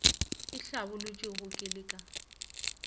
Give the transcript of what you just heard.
e hlabolotšwego ke le ka